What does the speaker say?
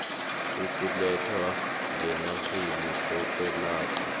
ukulethwa ngenarheni sokwelatjhwa